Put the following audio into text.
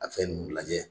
A fɛn ninnu lajɛ